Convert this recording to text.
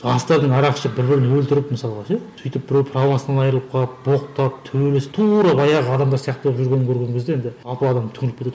жастардың арақ ішіп бір бірін өлтіріп мысалға ше сөйтіп біреу правосынан айрылып қалып боқтап төбелесіп тура баяғы адамдар сияқты болып жүрген көрген кезде енді адам түңіліп кетеді